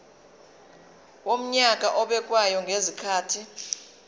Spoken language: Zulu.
wonyaka obekwayo ngezikhathi